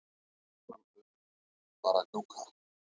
Fjórum öðrum leikjum var að ljúka